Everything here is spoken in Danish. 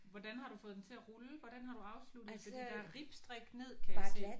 Hvordan har du fået den til at rulle? Hvordan har du afsluttet fordi der er ribstrik ned kan jeg se